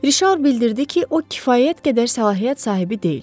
Rişar bildirdi ki, o kifayət qədər səlahiyyət sahibi deyil.